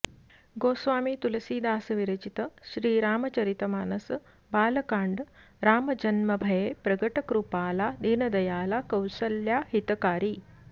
गोस्वामी तुलसीदास विरचित श्रीरामचरितमानस बालकाण्ड राम जन्म भये प्रगट कृपाला दीनदयाला कौसल्या हितकारी